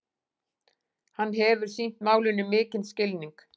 Hann hefur sýnt málinu mikinn skilning